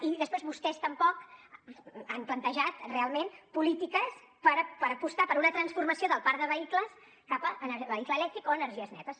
i després vostès tampoc han plantejat realment polítiques per apostar per una transformació del parc de vehicles cap al vehicle elèctric o energies netes